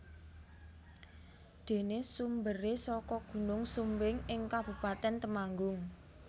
Dene sumbere saka gunung Sumbing ing Kabupaten Temanggung